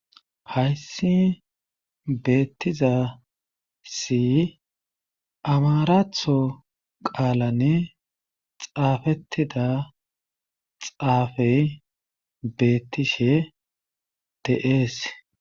Hayssi beetizaysi amaraththo qaalani xaafetida xaafe beetishe de'ees.